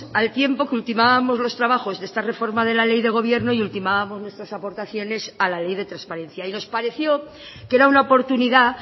al tiempo que ultimábamos los trabajos de esta reforma de la ley de gobierno y ultimábamos nuestras aportaciones a la ley de transparencia y nos pareció que era una oportunidad